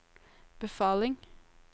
befaling